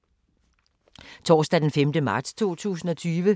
Torsdag d. 5. marts 2020